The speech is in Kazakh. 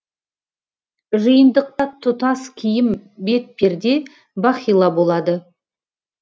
жиынтықта тұтас киім бетперде бахила болады